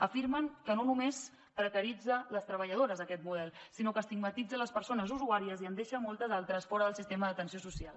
afirmen que no només precaritza les treballadores aquest model sinó que estigmatitza les persones usuàries i en deixa moltes altres fora del sistema d’atenció social